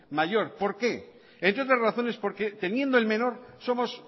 mayor por qué entre otras razones porque teniendo el menor somos